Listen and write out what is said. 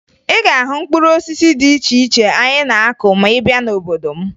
Ị ga-ahụ mkpụrụ osisi dị iche iche anyị na-akụ ma ị bịa n'obodo m